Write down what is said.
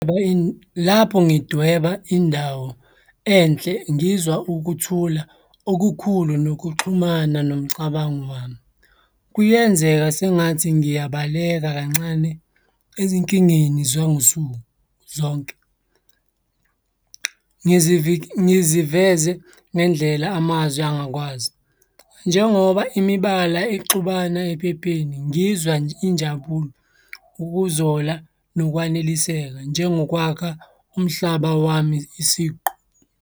Lapho ngidweba indawo enhle, ngizwa ukuthula okukhulu nokuxhumana nomcabango wami. Kuyenzeka sengathi ngiyabaleka kancane ezinkingeni zangosuku zonke, ngiziveze ngendlela amazwe angakwazi. Njengoba imibala ixubana ephepheni ngizwa injabulo, ukuzola, nokwaneliseka njengokwakha umhlaba wami isiqu.